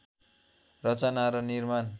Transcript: रचना र निर्माण